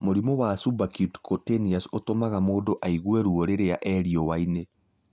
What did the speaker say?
Mũrimũ wa Subacute Cũtaneous ũtũmaga mũndũ aigue ruo rĩrĩa e riũanĩ.